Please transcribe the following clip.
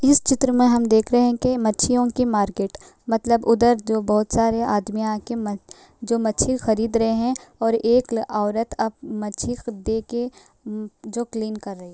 इस चित्र में हम देख रहे हैं कि मच्छियों का मार्केट है मतलब उधर जो बोहोत सारे आदमी आ के म् जो जो मछी खरीद रहे हैं और एक औरत अब मछी को देके जो क्लीन कर रही है।